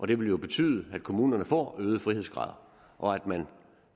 det vil jo betyde at kommunerne får øgede frihedsgrader og